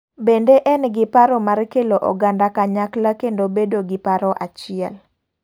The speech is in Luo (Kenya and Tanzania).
Bende en gi paro mar kelo oganda kanyakla kendo bedo gi paro achiel.